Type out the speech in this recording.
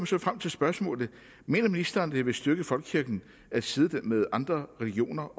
så frem til spørgsmålet mener ministeren at det vil styrke folkekirken at sidestille den med andre religioner